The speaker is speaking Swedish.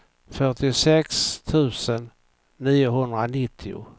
fyrtiosex tusen niohundranittio